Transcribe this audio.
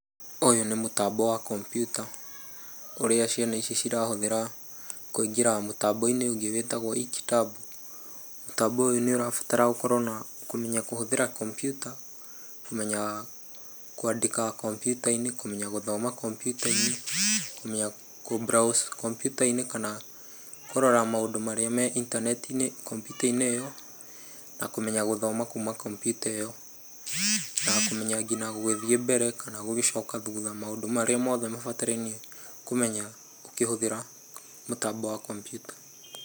Ũyũ nĩ mũtambo wa kompiuta ũrĩa ciana ici cirahũthĩra kũingĩra mũtambo-inĩ ũngĩ wĩtagwo Each Tab. Mũtambo ũyũ nĩ ũrabatara ũkorwo ũkĩmenya kũhũthĩra kompiuta, kũmenya kwandĩka kompiuta-inĩ, kũmenya gũthoma -kompiuta-inĩ na kũ browse komputa-inĩ kana kũrora maũndũ marĩa me intaneti-inĩ kompiuta-inĩ ĩyo na kũmenya gũthoma kuma kompiuta ĩyo. Na kũmenya nginya gũgĩthiĩ mbere na gũgĩcoka thutha. Maũndũ mothe marĩa mabatarainie kũmenya ũkĩhũthĩra mũtambo wa kompiuta.